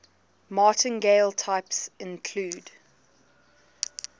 martingale types include